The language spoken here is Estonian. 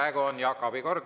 Praegu on Jaak Aabi aeg.